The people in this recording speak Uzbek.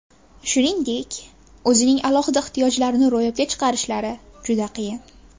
Shuningdek, o‘zining alohida ehtiyojlarini ro‘yobga chiqarishlari juda qiyin.